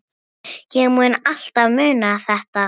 Ég mun alltaf muna þetta.